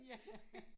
Ja